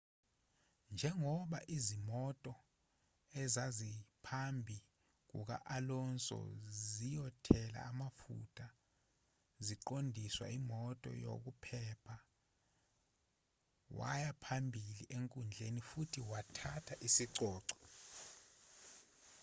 njengoba izimoto ezaziphambi kuka-alonso ziyothela amafutha ziqondiswa imoto yokuphepha waya phambili enkundleni futhi wathatha isicoco